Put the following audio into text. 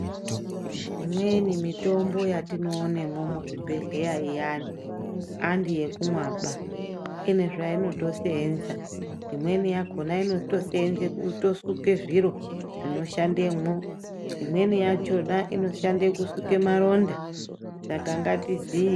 Imweni mitombo yatinoonemwo muzvibhedhleya iyani handi yekumwaba, ine zvainotoseenza. Imweni yakhona inotoseenze kutosuke zviro zvinoshandemwo. Imweni yachona inoshande kusuke maronda, saka ngatiziye.